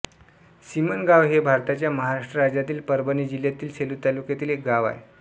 सिमनगाव हे भारताच्या महाराष्ट्र राज्यातील परभणी जिल्ह्यातील सेलू तालुक्यातील एक गाव आहे